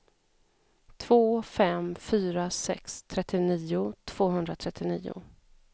två fem fyra sex trettionio tvåhundratrettionio